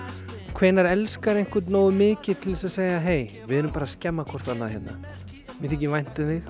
hvenær einhvern nógu mikið til að segja hey við erum bara að skemma hvort annað hérna mér þykir vænt um þig